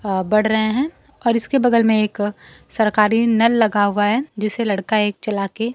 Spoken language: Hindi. अह बढ़ रहे हैं और इसके बगल में एक सरकारी नल लगा हुआ है जिसे लड़का एक चला के--